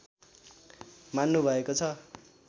मान्नु भएको छ